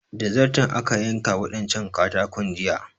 Da zarton aka yanka waɗancan katakon jiya